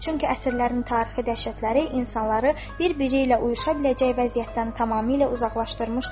Çünki əsrlərin tarixi dəhşətləri insanları bir-biri ilə uyuşa biləcək vəziyyətdən tamamilə uzaqlaşdırmışdır.